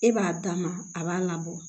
E b'a dama a b'a labɔ